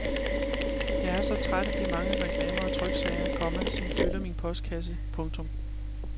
Jeg er så træt af de mange reklamer og tryksager, komma som fylder min postkasse. punktum